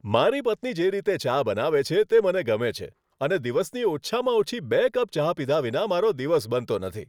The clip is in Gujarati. મારી પત્ની જે રીતે ચા બનાવે છે તે મને ગમે છે અને દિવસની ઓછામાં ઓછી બે કપ ચા પીધા વિના મારો દિવસ બનતો નથી.